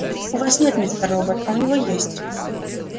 у вас нет мистер робот а у него есть